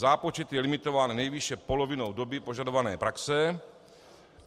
Zápočet je limitován nejvýše polovinou doby požadované praxe.